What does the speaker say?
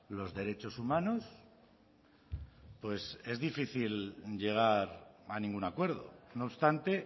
los derechos humanos pues es difícil llegar a ningún acuerdo no obstante